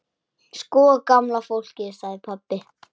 Sko gamla fólkið sagði pabbi.